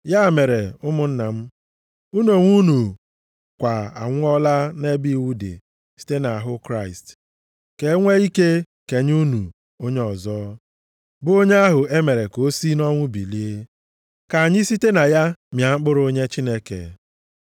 Ya mere, ụmụnna m, unu onwe unu kwa anwụọla nʼebe iwu dị site nʼahụ Kraịst, ka e nwe ike kenye unu onye ọzọ, bụ onye ahụ e mere ka o si nʼọnwụ bilie. Ka anyị site na ya mịa mkpụrụ nye Chineke.